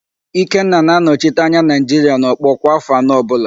Ikenna na-anọchite anya Naịjiria n'ọkpọ kwa áfọ̀ anọ ọbụla